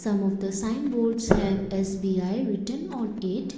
some of the sign boards have as S_B_I written on it.